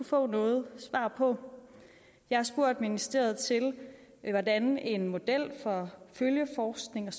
få noget svar på jeg har spurgt ministeriet til hvordan en model for følgeforskning og